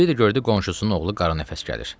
Bir də gördü qonşusunun oğlu qara nəfəs gəlir.